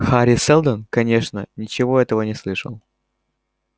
хари сэлдон конечно ничего этого не слышал